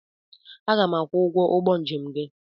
Aga m akwụ ụgwọ ụgbọ njem nke gị.